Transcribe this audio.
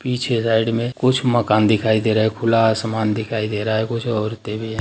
पीछे साइड में कुछ मकान दिखाई दे रहा है खुला आसमान दिखाई दे रहा है कुछ औरतें भी हैं।